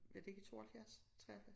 Var det ikke i 72 73